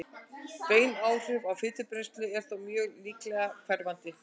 bein áhrif á fitubrennslu eru þó mjög líklega hverfandi